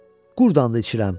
Qurdandı içirəm.